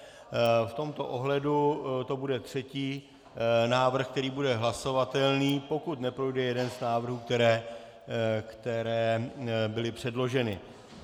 V tomto ohledu to bude třetí návrh, který bude hlasovatelný, pokud neprojde jeden z návrhů, které byly předloženy.